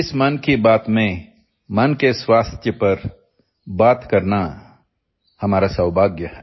इस मन की बात में मन के स्वास्थ्य पर बात करना हमारा सौभाग्य है